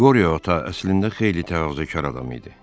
Qoriya Ata əslində xeyli təvazökar adam idi.